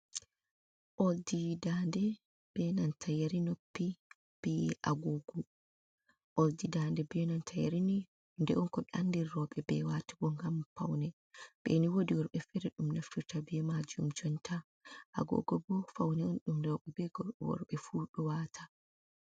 Ɓoldi ndande be nanta yeri noppi, be agogo. Ɓoldi ndande be nanta yeri nii hunde on ko anndiri rowɓe be watugo ngam faune, ɓeni wodi worbe fere ɗum naftirta be majum jonnta. Agogo bo faune on ɗum rowɓe be gor worɓe fu ɗo wata.